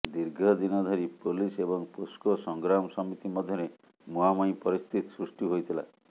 ଦୀର୍ଘ ଦିନ ଧରି ପୋଲିସ ଏବଂ ପୋସ୍କୋ ସଂଗ୍ରାମ ସମିତି ମଧ୍ୟରେ ମୁହାଁମୁହିଁ ପରିସ୍ଥିତି ସୃଷ୍ଟି ହୋଇଥିଲା